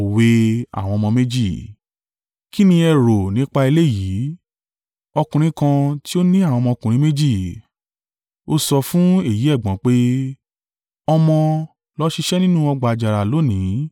“Kí ni ẹ rò nípa eléyìí? Ọkùnrin kan ti ó ní àwọn ọmọkùnrin méjì. Ó sọ fún èyí ẹ̀gbọ́n pé, ‘Ọmọ, lọ ṣiṣẹ́ nínú ọgbà àjàrà lónìí.’